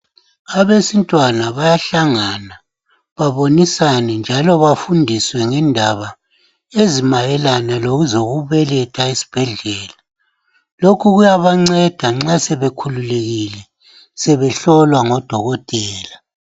Abesintwana bayahlangana baboniswa e njalo bafundiswe ngendaba ezimayelana lezokubeletha esibhedlela lokhu kuyabanceda nxa sebekhulile sebehlolwa ngodokotela